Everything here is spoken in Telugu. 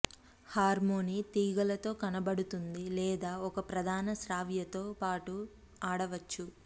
హార్మొనీ తీగలలో కనబడుతుంది లేదా ఒక ప్రధాన శ్రావ్యతతో పాటు ఆడవచ్చు